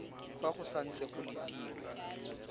fa go santse go letilwe